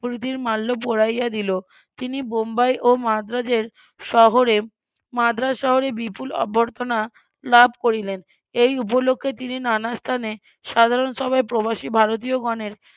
প্রীতির মাল্য পড়াইয়া দিল তিনি বোম্বাই ও মাদ্রাজের শহরে মাদ্রাজ শহরে বিপুল অভ্যর্থনা লাভ করিলেন এই উপলক্ষ্যে তিনি নানা স্থানে সাধারণ সভায় প্রবাসী ভারতীয়গণের